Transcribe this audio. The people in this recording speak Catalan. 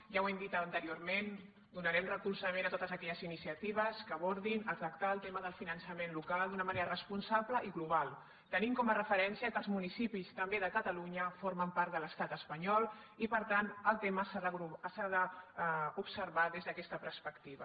ja ho hem dit anteriorment donarem recolzament a totes aquelles iniciatives que abordin a tractar el tema del finançament local d’una manera responsable i global tenint com a referència que els municipis també de catalunya formen part de l’estat espanyol i per tant el tema s’ha d’observar des d’aquesta perspectiva